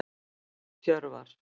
Hjörvar